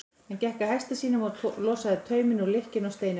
Hann gekk að hesti sínum og losaði tauminn úr lykkjunni á steininum.